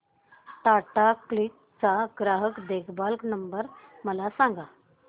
Tata CLiQ चा ग्राहक देखभाल नंबर मला सांगा